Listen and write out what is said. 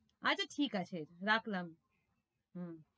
আচ্ছা, ঠিক আছে রাখলাম হম